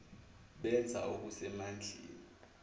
benza okuse mandleni